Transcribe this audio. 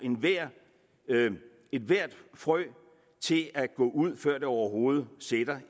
ethvert frø til at gå ud før det overhovedet sætter